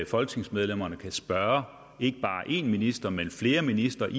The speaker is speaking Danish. folketingsmedlemmerne kan spørge ikke bare én minister men flere ministre i